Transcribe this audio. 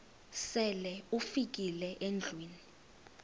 sele ufikile endlwini